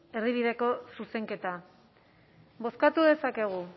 erdibideko zuzenketa bozkatu dezakegu